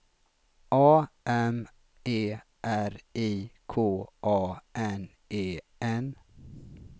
A M E R I K A N E N